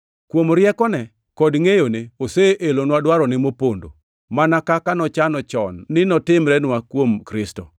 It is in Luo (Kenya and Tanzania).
Kuom riekone kod ngʼeyone, oseelonwa dwarone mopondo, mana kaka nochano chon ni notimrenwa kuom Kristo,